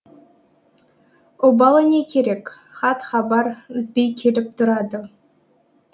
обалы не керек хат хабар үзбей келіп тұрады